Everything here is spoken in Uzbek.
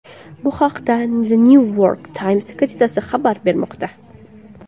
Bu haqda The New York Times gazetasi xabar bermoqda .